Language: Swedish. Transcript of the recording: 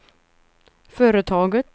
företaget